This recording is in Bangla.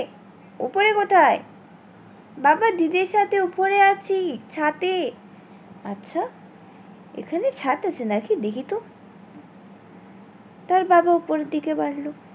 বাবা দিদির সাথে ওপরে আছি ছাদে, আচ্ছা এখানে ছাদ আছে নাকি দেখিতো? তার বাবা উপরের দিকে গেলো